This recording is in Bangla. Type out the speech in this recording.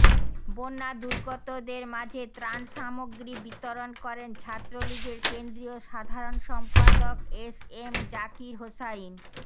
বন্যাদুর্গতদের মাঝে ত্রাণ সামগ্রী বিতরণ করেন ছাত্রলীগের কেন্দ্রীয় সাধারণ সম্পাদক এস এম জাকির হোসাইন